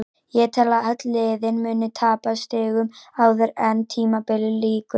Ég tel að öll liðin muni tapa stigum áður en tímabilinu lýkur.